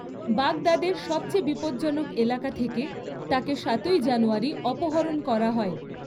বাগদাদের সবচেয়ে বিপজ্জনক এলাকা থেকে তাকে সাতই জানুয়ারি অপহরণ করা হয়।